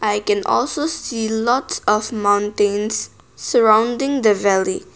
i can also see lots of mountains surrounding the valley.